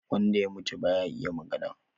Wanda ya mutum baya iya magana